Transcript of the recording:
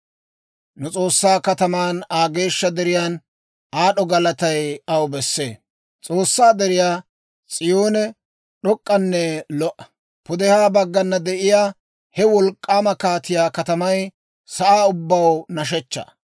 S'oossaa deriyaa S'iyoone d'ok'k'anne lo"a. Pudehaa baggana de'iyaa He wolk'k'aama kaatiyaa katamay sa'aa ubbaw nashshechchaa.